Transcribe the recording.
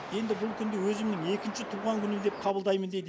енді бұл күнді өзімің екінші туған күнім деп қабылдаймын дейді